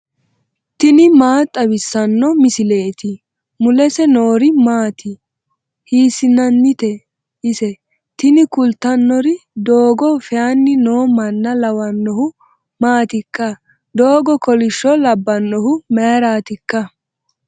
tini maa xawissanno misileeti ? mulese noori maati ? hiissinannite ise ? tini kultannori doogo feyanni noo manna lawannohu maatikka ? doogo kolishsho labbannohu mayraatikka ?